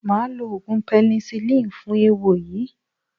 Màá lo oògùn pẹ́nisilínì fún eéwo yìí.